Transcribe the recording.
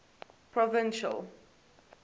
provincial